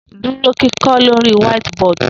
Duro kikọ lori whiteboard